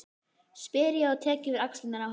spyr ég og tek yfir axlirnar á henni.